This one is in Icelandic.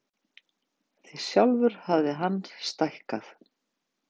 Því sjálfur hafði hann stækkað.